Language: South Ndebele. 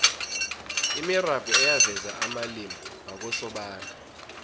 imirabhu eyaveza amalimi wakosobantu